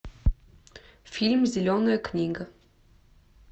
фильм зеленая книга